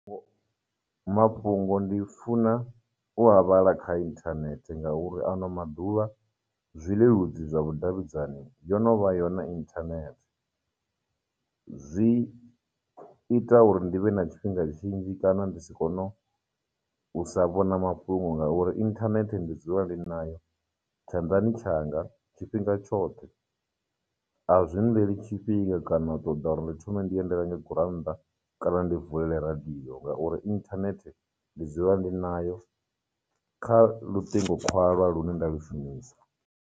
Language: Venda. Mafhungo ndi funa u a vhala kha internet ngauri ano maḓuvha zwileludzi zwa vhudavhidzani yo no vha yone internet. Zwi ita uri ndi vhe na tshifhinga tshinzhi kana ndi si kono u sa vhona mafhungo ngauri internet ndi dzula ndi nayo tshanḓani tshanga tshifhinga tshoṱhe. A zwi nḽeli tshifhinga kana u ṱoḓa uri ndi thome ndi ye ndi renge gurannḓa kana ndi vulele radio ngauri internet ndi dzula ndi nayo kha lutingo khwalwa lune nda lu shumisa,